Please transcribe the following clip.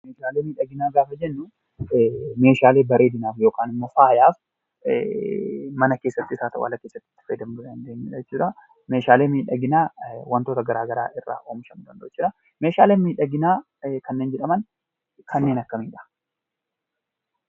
Meeshaalee miidhaginaa gaafa jennu meeshaalee bareedinaaf yookaan immoo faayaaf mana keessattis haa ta'u ala keessatti itti fayyadamuu dandeenyudha jechuudha. Meeshaalee miidhaginaa wantoota garaa garaa irraa oomishamuu danda'u jechuudha. Meeshaalee miidhaginaa kanneen jedhaman kanneen akkamiidha?